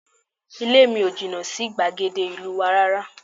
Ilé mi ò jìnnà sí gbàgede ìlú wa rárá